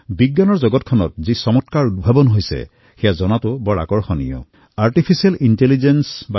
বিজ্ঞানৰ ক্ষেত্ৰত যি চমৎকাৰ হৈ আছে সেইসমূহৰ বিষয়ে জানিবলৈ এয়া বৰ বঢ়িয়া সুযোগ আছিল